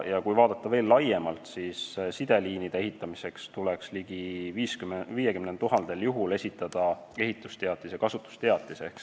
Ja kui vaadata veel laiemalt, siis sideliinide ehitamiseks tuleks ehitusteatis ja kasutusteatis esitada ligi 50 000 juhul.